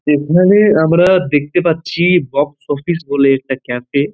এখানে আমরা দেখতে পাচ্ছি বক্স অফিস বলে একটা ক্যাফে ।